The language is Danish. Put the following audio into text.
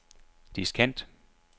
diskant